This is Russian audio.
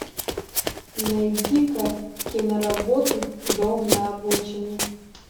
найди ка киноработу дом на обочине